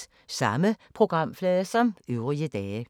Samme programflade som øvrige dage